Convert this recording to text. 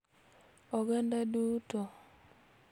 Oganda duto,